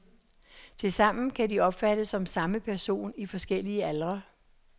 Tilsammen kan de opfattes som samme person i forskellige aldre.